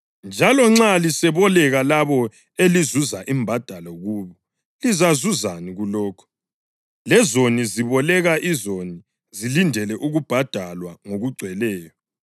Njalo nxa liseboleka labo elizazuza imbadalo kubo, lizazuzani kulokho? Lezoni ziboleka izoni zilindele ukubhadalwa ngokugcweleyo.